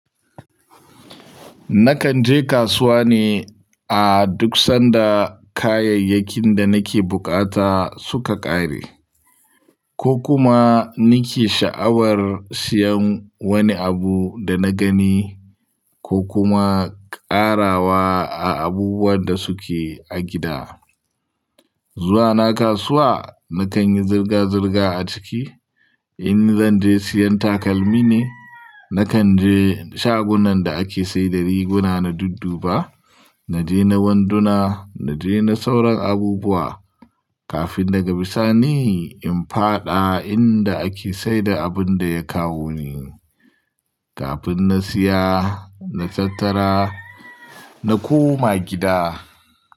Nakan je kasuwa ne a duk sanda kayayyakin da nake bukata suka ƙare ko kuma nake sha'awar siyan wani abu da na gani ko kuma ƙarawa a abubuwan da suke a gida. Zuwa na kasuwa, na kan yi zirga-zirga a ciki. In zan je siyan takalmi ne, na kan je shagunan da ake saida riguna na dudduba, na je na wanduna, na je na sauran abubuwa kafin daga bisani in faɗa inda ake saida abun da ya kawo ni. Kafin na siya, na tattara, na koma gida.